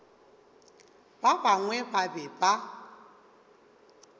ba bangwe ba be ba